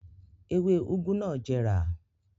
Ewé úgú náà jẹrà.